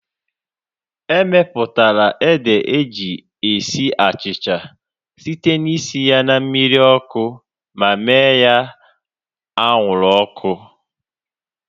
Emeputara ede eji esi achịcha site na isi ya na mmiri ọkụ ma mee ya anwụrụ ọkụ